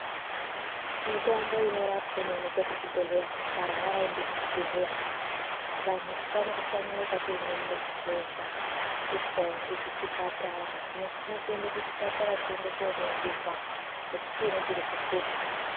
Mitombo inorapa inowanikwa kuzvibhedhlera warwara enda kuzvibhedhlera usa shanyarika uri mumagumbeza tisingaendikuchipatara nofana kuenda kuchipatara uyende koningirwa kuti chinyi chiri kuhlupa.